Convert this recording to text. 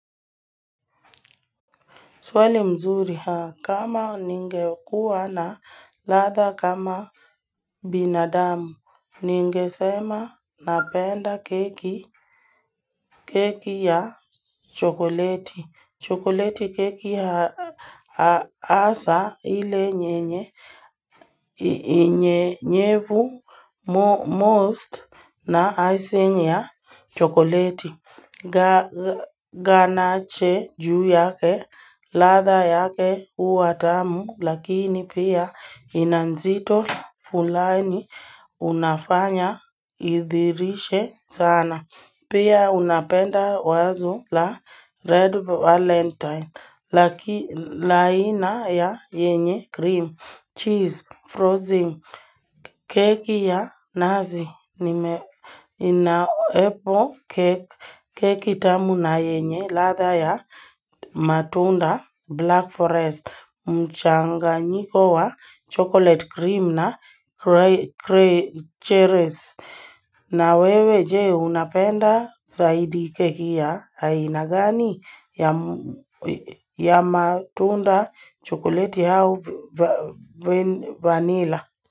Swali mzuri haa, kama ninge kuwa na latha kama binadamu? Ninge sema napenda keki keki ya chokoleti chokoleti keki haa ha asa ile nye nye hi nye nyevu most na isenye ya chokoleti ga Ganache juu yake, latha yake huwa tamu, Lakini pia ina nzito fulani unafanya idhirishe sana Pia unapenda wazo la red valentine, Laki laina ya yenye cream, cheese, frozen Keki ya nazi nime inaepo kek keki tamu na yenye latha ya matunda, black forest, mchanganyiko wa chocolate cream na cre cre cherry cherries. Na wewe je, unapenda saidi keki ya haina gani? Ya matunda, chocolate au va ven vanilla?